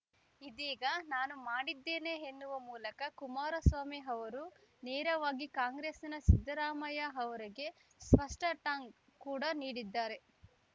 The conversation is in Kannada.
ಇದೀಗ ನಾನು ಮಾಡಿದ್ದೇನೆ ಎನ್ನುವ ಮೂಲಕ ಕುಮಾರಸ್ವಾಮಿ ಅವರು ನೇರವಾಗಿ ಕಾಂಗ್ರೆಸ್‌ನ ಸಿದ್ದರಾಮಯ್ಯ ಅವರಿಗೆ ಸ್ಪಷ್ಟಟಾಂಗ್‌ ಕೂಡ ನೀಡಿದ್ದಾರೆ